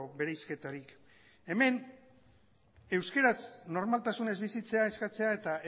bereizketarik hemen euskaraz normaltasunez bizitzea eskatzea eta